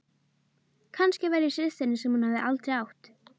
Kannski var ég systirin sem hún hafði aldrei átt.